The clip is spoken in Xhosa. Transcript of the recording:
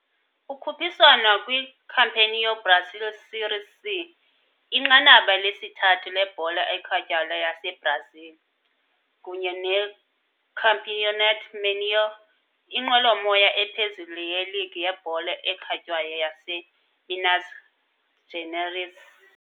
Ukhuphiswano kwiCampeonato Brasileiro Série C, inqanaba lesithathu lebhola ekhatywayo yaseBrazil, kunye neCampeonato Mineiro, inqwelomoya ephezulu yeligi yebhola ekhatywayo yaseMinas Gerais.